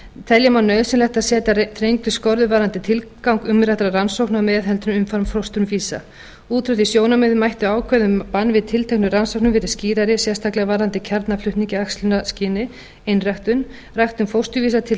telja má nauðsynlegt að setja þrengri skorður varðandi tilgang umræddra rannsókna og meðhöndlun umframfósturvísa út frá því sjónarmiði mættu ákvæði að bann við tilteknum rannsóknum vera skýrari sérstaklega varðandi kjarnaflutning í æxlunarskyni einræktun ræktun fósturvísa til þess